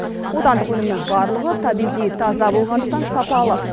отандық өнімнің барлығы табиғи таза болғандықтан сапалы